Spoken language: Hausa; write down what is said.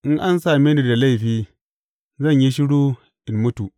In an same ni da laifi, zan yi shiru in mutu.